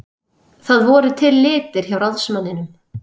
Það voru til litir hjá ráðsmanninum.